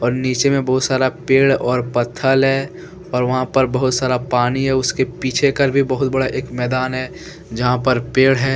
और नीचे में बहुत सारा पेड़ और पत्थल है और वहां पर बहुत सारा पानी है। उसके पीछे करके बहुत बड़ा एक मैदान है जहां पर पेड़ है ।